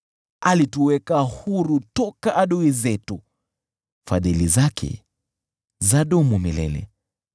Alituweka huru toka adui zetu, Fadhili zake zadumu milele .